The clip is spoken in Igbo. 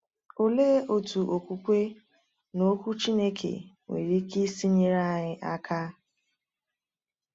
Olee otu okwukwe n’Okwu Chineke nwere ike isi nyere anyị aka?